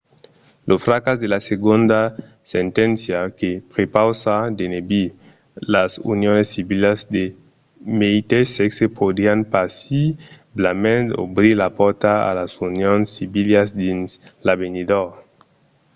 lo fracàs de la segonda senténcia que prepausa d'enebir las unions civilas de meteis sèxe podrián possiblament obrir la pòrta a las unions civilas dins l'avenidor